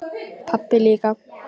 Pabbi líka.